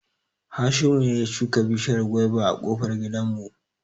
Hashimu ne ya shuka bishiyar gwaiba a ƙofar gidan mu